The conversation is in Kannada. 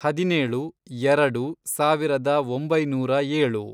ಹದಿನೇಳು, ಎರಡು, ಸಾವಿರದ ಒಂಬೈನೂರ ಏಳು